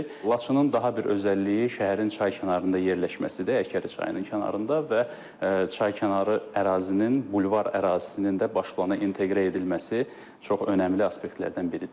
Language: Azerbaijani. Laçının daha bir özəlliyi şəhərin çaykənarında yerləşməsidir, Əkəri çayının kənarında və çaykənarı ərazinin, bulvar ərazisinin də baş plana inteqrə edilməsi çox önəmli aspektlərdən biridir.